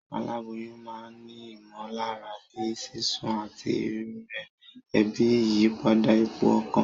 Aláboyún ma n ni ìmòlára bíi sísún àtí rírè, ebi, ìyípadà ipò okàn